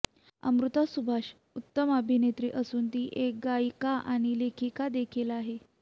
अमृता सुभाष उत्तम अभिनेत्री असून ती एक गायिका आणि लेखिकादेखील आहे